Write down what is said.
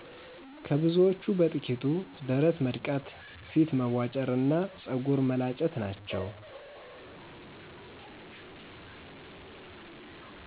ከብዙዎቹ በጥቂቱ ደረት መድቃት፣ ፊት መቧጨር እና ፀጉር መላጨት ናቸው።